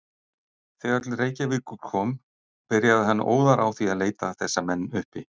Þegar til Reykjavíkur kom, byrjaði hann óðar á því að leita þessa menn uppi.